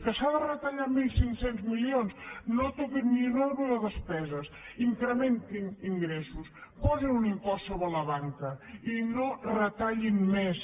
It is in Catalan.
que s’ha de retallar mil cinc cents milions no toquin ni un euro de despeses incrementin ingressos posin un impost sobre la banca i no retallin més